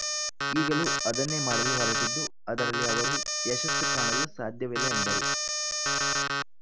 ಈಗಲೂ ಅದನ್ನೇ ಮಾಡಲು ಹೊರಟಿದ್ದು ಅದರಲ್ಲಿ ಅವರು ಯಶಸ್ಸು ಕಾಣಲು ಸಾಧ್ಯವಿಲ್ಲ ಎಂದರು